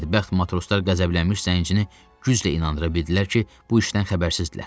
Bədbəxt matroslar qəzəblənmiş zəncini güclə inandıra bildilər ki, bu işdən xəbərsiz idilər.